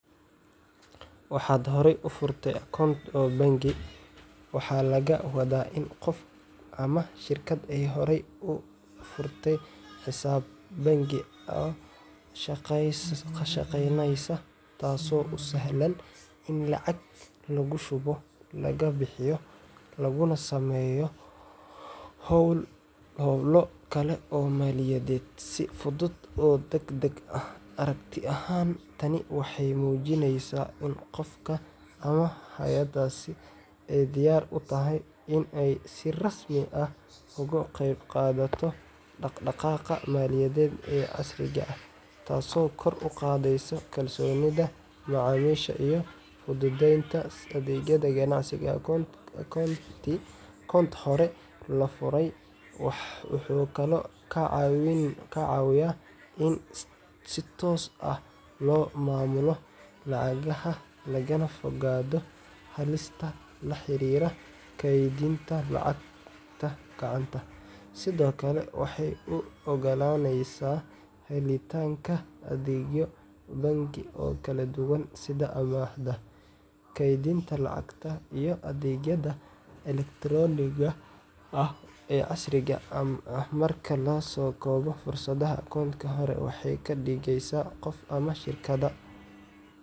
Waaxad horey u furatay akoont oo bangi waxaa laga wadaa in qof ama shirkad ay horey u furtay xisaab bangi oo shaqaynaysa, taasoo u sahlaysa in lacag lagu shubo, laga bixiyo, laguna sameeyo howlo kale oo maaliyadeed si fudud oo degdeg ah. Aragti ahaan, tani waxay muujineysaa in qofka ama hay’addaasi ay diyaar u tahay in ay si rasmi ah uga qeyb qaadato dhaqdhaqaaqa maaliyadeed ee casriga ah, taasoo kor u qaadeysa kalsoonida macaamiisha iyo fududeynta adeegyada ganacsiga. Akoont hore loo furay wuxuu kaloo ka caawiyaa in si toos ah loo maamulo lacagaha, lagana fogaado halista la xiriirta kaydinta lacagta gacanta. Sidoo kale, waxay u oggolaaneysaa helitaanka adeegyo bangi oo kala duwan sida amaahda, kaydinta lacagta, iyo adeegyada elektaroonigga ah ee casriga ah. Marka la soo koobo, furashada akoont hore waxay ka dhigeysaa qofka ama shirkadda.